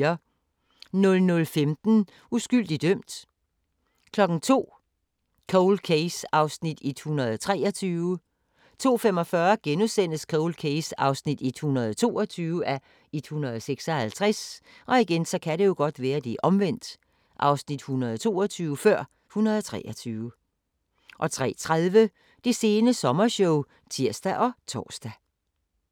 00:15: Uskyldig dømt 02:00: Cold Case (123:156) 02:45: Cold Case (122:156)* 03:30: Det sene sommershow (tir og tor)